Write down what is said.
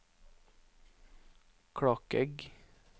Klakegg